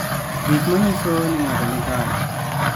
Gik manyiso ni ng'ato ni kare.